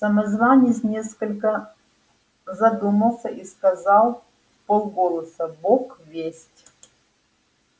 самозванец несколько задумался и сказал вполголоса бог весть